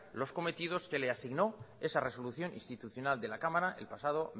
los cometidos que le asignó esa resolución institucional de la cámara el pasado